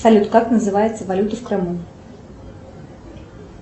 салют как называется валюта в крыму